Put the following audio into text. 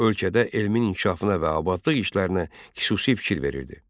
Ölkədə elmin inkişafına və abadlıq işlərinə xüsusi fikir verirdi.